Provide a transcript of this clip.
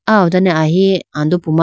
aw ho done amari andopu ma.